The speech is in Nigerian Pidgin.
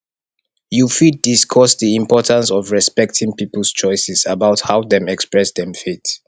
you fit discuss di importance of respecting peoples choices about how dem express dem faith